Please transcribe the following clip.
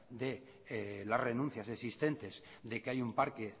de la renuncia existentes de que hay un parque